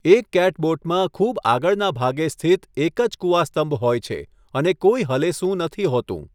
એક કેટબોટમાં ખુબ આગળના ભાગે સ્થિત એક જ કુવાસ્તંભ હોય છે અને કોઈ હલેસું નથી હોતું.